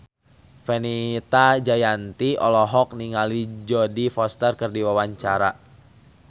Fenita Jayanti olohok ningali Jodie Foster keur diwawancara